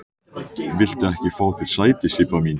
Viltu ekki fá þér sæti, Sibba mín?